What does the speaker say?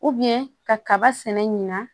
kaba sɛnɛ ɲina